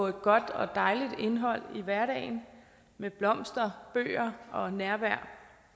et godt og dejligt indhold i hverdagen med blomster bøger og nærvær